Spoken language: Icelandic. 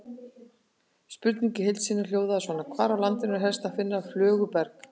Spurningin í heild sinni hljóðaði svona: Hvar á landinu er helst að finna flöguberg?